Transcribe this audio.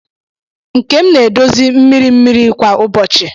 Nkem na-edozi mmiri mmiri kwa ụbọchị.